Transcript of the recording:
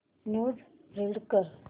news read कर